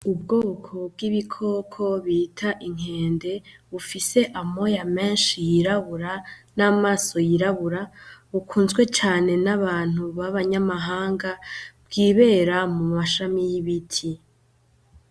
Ubwoko bw'ibikoko bita inkende bufise amoya menshi yirabura namaso yirabura, bukunzwe cane n'abantu babanyamahanga bwibera mumashami y'ibiti .